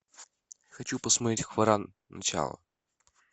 хочу посмотреть хваран начало